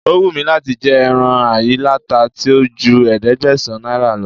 O wù mí láti jẹ ẹran ayíláta tí ò ju ẹ̀ẹ́dẹ́gbẹ̀sán náírà lọ